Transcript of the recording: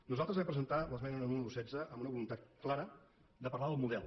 nosaltres vam presentar l’esmena número setze amb una voluntat clara de parlar del model